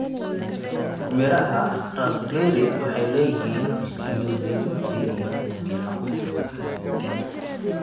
Midhaha raspberry waxay leeyihiin nyuzinyuzi iyo fiitamiinno.